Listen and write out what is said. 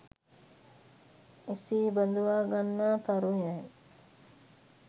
එසේ බඳවා ගන්නා තරුණයන්